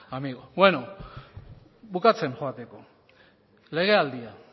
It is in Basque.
amigo bueno bukatzen joateko legealdia